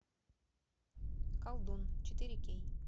колдун четыре кей